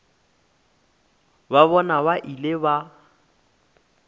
ba bona ba ile ba